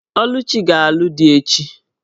Oluchi ga-alụ di echi.